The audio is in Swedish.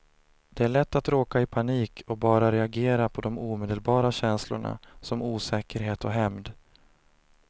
Det är lätt att råka i panik och bara reagera på de omedelbara känslorna, som osäkerhet och hämnd.